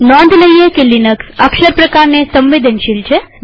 નોંધ લઈએ કે લિનક્સ અક્ષર પ્રકારસાદા કે કેપિટલસંવેદનશીલ છે